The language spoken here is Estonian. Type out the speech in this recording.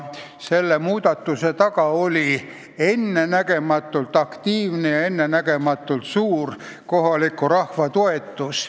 Selle muudatuse taga oli ennenägematult aktiivne ja suur kohaliku rahva toetus.